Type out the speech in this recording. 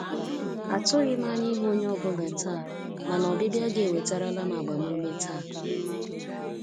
Atụghị m anya ịhụ onye ọ bụla taa, mana ọbịbịa gị ewetarala m agbamume taa.